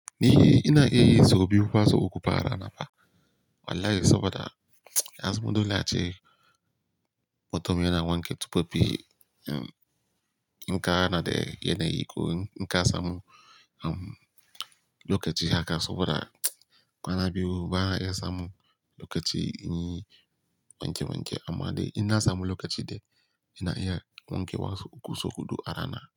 Ni ina iya yi sau biyu ko sau uku a rana fa. Wallahi saboda ya zun za a ce. Mutum yana wanke tufafi, in ka hana da yana yi ko in ka samu lokaci haka saboda kwana biyu ba na iya samun lokaci in yi wanke wanke. Amma dai in na samu lokaci dai, ina iya wankewa sau uku sau huɗu a rana.